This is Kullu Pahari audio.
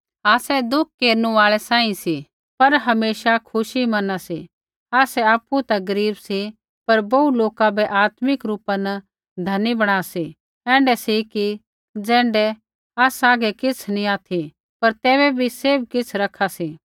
आसै दुःख केरनु आल़ै सांही सी पर हमेशा खुशी मैना सी आसै आपु ता गरीब सी पर बोहू लोका बै आत्मिक रूपा न धनी बणा सी ऐण्ढै सी कि ज़ैण्ढै आसा हागै किछ़ै नी ऑथि पर तैबै भी सैभ किछ़ रखा सी